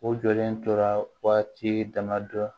O jɔlen tora waati damadɔ